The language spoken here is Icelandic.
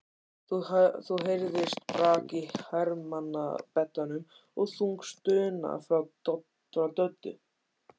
Þá heyrðist brak í hermannabeddanum og þung stuna frá Döddu.